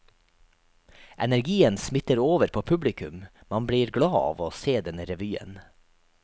Energien smitter over på publikum, man blir glad av å se denne revyen.